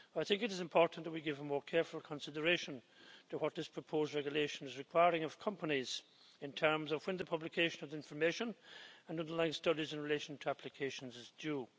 It is important that we give more careful consideration to what this proposed regulation is requiring of companies in terms of when the publication of information and underlying studies in relation to applications is due.